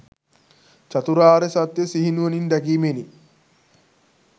චතුරාර්ය සත්‍යය සිහිනුවණින් දැකීමෙනි.